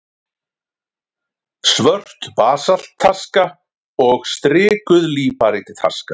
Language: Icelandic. Svört basaltaska og strikuð líparítaska.